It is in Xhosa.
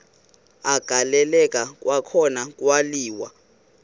agaleleka kwakhona kwaliwa